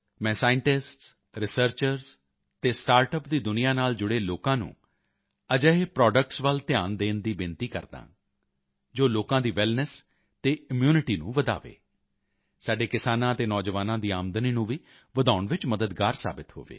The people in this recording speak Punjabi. ਮੈਂ ਸਾਇੰਟਿਸਟਸ ਰਿਸਰਚਰਜ਼ ਅਤੇ ਸਟਾਰਟਅਪ ਦੀ ਦੁਨੀਆਂ ਨਾਲ ਜੁੜੇ ਲੋਕਾਂ ਨੂੰ ਅਜਿਹੇ ਪ੍ਰੋਡਕਟਸ ਦੇ ਵੱਲ ਧਿਆਨ ਦੇਣ ਦੀ ਬੇਨਤੀ ਕਰਦਾ ਹਾਂ ਜੋ ਲੋਕਾਂ ਦੀ ਵੈਲਨੈੱਸ ਅਤੇ ਇਮਿਊਨਿਟੀ ਨੂੰ ਵਧਾਏ ਸਾਡੇ ਕਿਸਾਨਾਂ ਅਤੇ ਨੌਜਵਾਨਾਂ ਦੀ ਆਮਦਨੀ ਨੂੰ ਵੀ ਵਧਾਉਣ ਵਿੱਚ ਮਦਦਗਾਰ ਸਾਬਿਤ ਹੋਵੇ